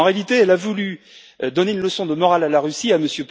En réalité, elle a voulu donner une leçon de morale à la Russie, à M.